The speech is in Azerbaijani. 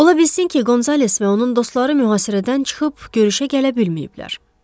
Ola bilsin ki, Qonzales və onun dostları mühasirədən çıxıb görüşə gələ bilməyiblər.